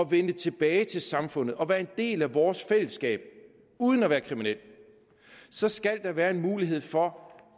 vende tilbage til samfundet og være en del af vores fællesskab uden at være kriminel så skal der være en mulighed for